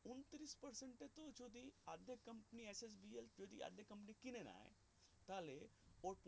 যদি company কিনে নেয় তাহলে